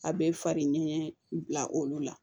A bɛ fari ɲɛgɛn bila olu la